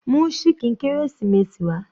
Mú ṣíkìn kérésìmesì wá.